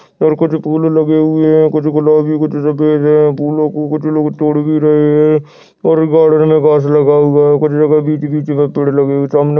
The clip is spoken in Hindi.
और कुछ फूल लगे हुए है कुछ गुलाबी कुछ सफ़ेद फूलो को कुछ लोग तोड़ भी रहे है और गार्डन ल में घास लगा हुआ है कुछ जगह बीच ही बीच में पेड़ लगे हुए है सामने।